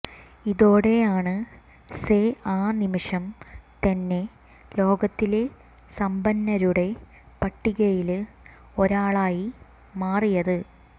ഇതോടെയാണ് സെ ആ നിമിഷം തന്നെ ലോകത്തിലെ സമ്പന്നരുടെ പട്ടികയില് ഒരാളായി മാറിയത്